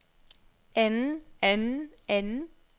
anden anden anden